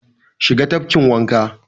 Shiga tafkin wanka!